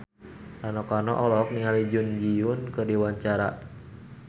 Rano Karno olohok ningali Jun Ji Hyun keur diwawancara